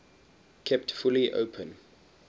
kept fully open